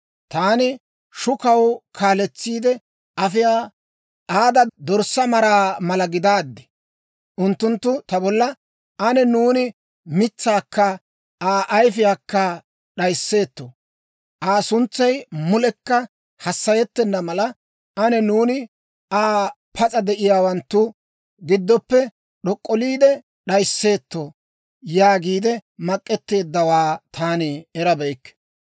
Taani shukaw kaaletsiide afiyaa aada dorssaa maraa mala gidaaddi. Unttunttu ta bolla, «Ane nuuni mitsaakka Aa ayifiyaakka d'ayisseetto. Aa suntsay mulekka hassayettenna mala, ane nuuni Aa pas'a de'iyaawanttu giddoppe d'ok'olliide d'ayisseetto» yaagiide mak'etteeddawaa taani erabeykke.